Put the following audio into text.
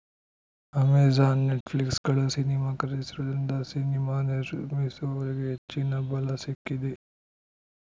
Amazon ನೆಟ್‌ಫ್ಲಿಕ್ಸ್‌ಗಳು cinema ಖರೀದಿಸುವುದರಿಂದ cinema ನಿರ್ಮಿಸುವವರಿಗೆ ಹೆಚ್ಚಿನ ಬಲ ಸಿಕ್ಕಿದೆ